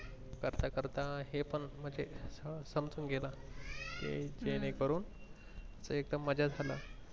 करता करता हे पण म्हणजे हम्म संपवून गेलं कि जेणे करून हे एकदम मज्जा झाल